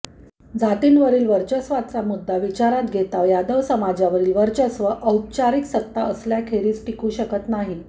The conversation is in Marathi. जातींवरील वर्चस्वाचा मुद्दा विचारात घेता यादव समाजावरील वर्चस्व औपचारिक सत्ता असल्याखेरीज टिकू शकत नाही